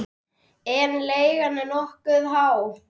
En leigan er nokkuð há.